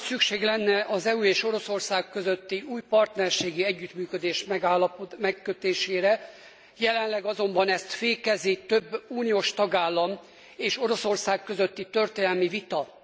Nagy szükség lenne az EU és Oroszország közötti új partnerségi együttműködés megkötésére, jelenleg azonban ezt fékezi több uniós tagállam és Oroszország közötti történelmi vita.